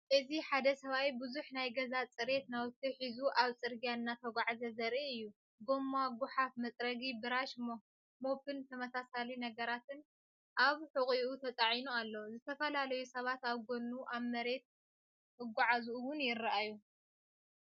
እዚ ሓደ ሰብኣይ ብዙሕ ናይ ገዛ ጽሬት ናውቲ ሒዙ ኣብ ጽርግያ እናተጓዕዘ ዘርኢ እዩ። ጎማ፣ ጐሓፍ መፅረጊ፡ ብራሽ፡ ሞፕን ተመሳሳሊ ነገራትን ኣብ ሕቖኡ ተጻዒኑ ኣሎ። ዝተፈላለዩ ሰባት ኣብ ጎድኑ ኣብ መሬት ክጓዓዙ እውን ይረኣዩ።